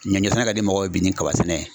Ɲɔ sɛnɛ ka di mɔgɔw ye bi ni kaba sɛnɛ ye